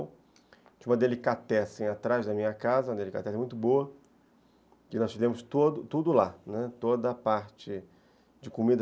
Tinha uma delicatessen atrás da minha casa, uma delicatessen muito boa, que nós fizemos tudo lá, toda a parte de comida.